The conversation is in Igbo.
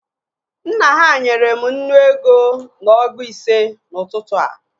Nna ha nyere m nnu ego na ọgụ ise n'ụtụtụ a